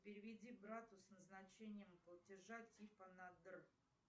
переведи брату с назначением платежа типа на др